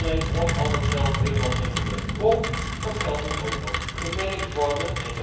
Niet alleen lost al dat geld helemaal geen problemen op, dat geld moet ook nog gemanaged worden.